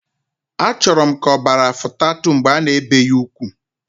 Achoro m ka obara futat mbge ana ebe ya ukwu.